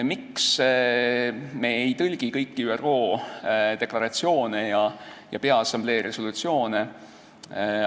Miks me ei tõlgi kõiki ÜRO deklaratsioone ja peaassamblee resolutsioone?